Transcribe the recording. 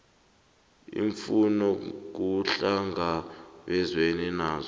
iimfuno kuhlangabezwene nazo